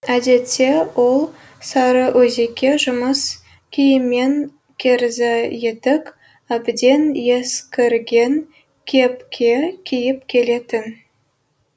әдетте ол сарыөзекке жұмыс киіммен керзі етік әбден ескірген кепке киіп келетін